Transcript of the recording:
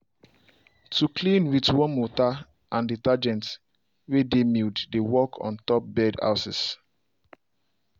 to clean with warm water and detergent way dey mild dey work on top bird houses